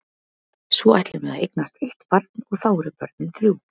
Svo ætlum við að eignast eitt barn og þá eru börnin þrjú.